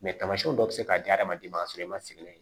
tamasiyɛnw dɔ bɛ se k'a diya hadamaden ma k'a sɔrɔ i ma sigi n'a ye